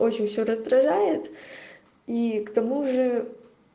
очень все раздражает и к тому же